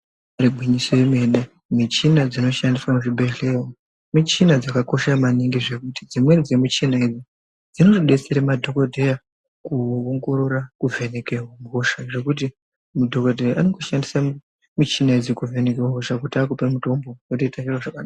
Igwinyiso yemene , michina dzinoshandiswa muzvibhedhleyamo, michini dzakakosha maningi zvekuti dzimweni dzemichina idzi dzinodetsera madhokodheya kuongorora, kuvheneke hosha, zvekuti mudhokodheya anongoshandisa michina idzi kuvheneka hosha kuti akupe mutombo, wotoita zviro zvakanaka.